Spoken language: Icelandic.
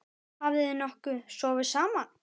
Hafið þið nokkuð sofið saman?